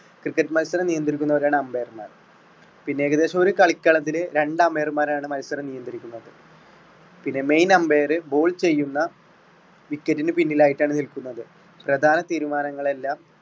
cricket മത്സരം നിയന്ത്രിക്കുന്നവരാണ് umpire മാർ. പിന്നെ ഏകദേശം ഒരു കളിക്കളത്തില് രണ്ട് umpire മാരാണ് മത്സരം നിയന്ത്രിക്കുന്നത്. പിന്നെ main umpire ball ചെയ്യുന്ന wicket ന് പിന്നിലായിട്ടാണ് നിൽക്കുന്നത്. പ്രധാന തീരുമാനങ്ങളെല്ലാം.